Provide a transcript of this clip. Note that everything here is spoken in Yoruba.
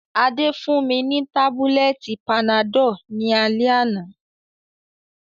Adé fún mi ni tábúlẹ̀tì panadọ́l ní alẹ́ àná